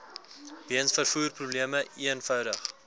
weens vervoerprobleme eenvoudig